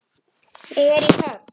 Ég er í höfn.